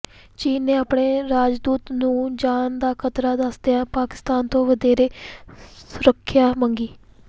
ਚੀਨ ਨੇ ਆਪਣੇ ਰਾਜਦੂਤ ਨੂੰ ਜਾਨ ਦਾ ਖ਼ਤਰਾ ਦੱਸਦਿਆਂ ਪਾਕਿਸਤਾਨ ਤੋਂ ਵਧੇਰੇ ਸੁਰੱਖਿਆ ਮੰਗੀ